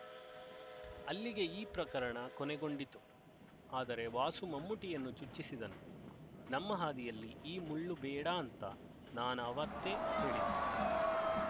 ಅಲ್ಲಿಗೆ ಈ ಪ್ರಕರಣ ಕೊನೆಗೊಂಡಿತು ಆದರೆ ವಾಸು ಮಮ್ಮೂಟಿಯನ್ನು ಚುಚ್ಚಿಸಿದನು ನಮ್ಮ ಹಾದಿಯಲ್ಲಿ ಈ ಮುಳ್ಳುಬೇಡಾಂತ ನಾನಾವತ್ತೇ ಹೇಳಿದೆ